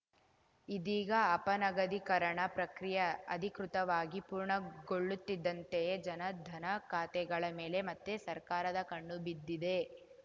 ಇದೀಗ ಅಪನಗದೀಕರಣ ಪ್ರಕ್ರಿಯೆ ಅಧಿಕೃತವಾಗಿ ಪೂರ್ಣಗೊಳ್ಳುತ್ತಿದ್ದಂತೆಯೇ ಜನಧನ ಖಾತೆಗಳ ಮೇಲೆ ಮತ್ತೆ ಸರ್ಕಾರದ ಕಣ್ಣು ಬಿದ್ದಿದೆ